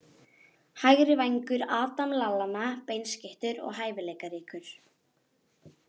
Hægri vængur- Adam Lallana Beinskeyttur og hæfileikaríkur.